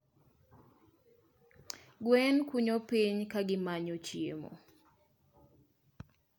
Gwen kunyo piny ka gimanyo chiemo.